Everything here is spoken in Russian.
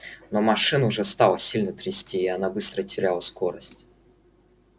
но машину уже стало сильно трясти и она быстро теряла скорость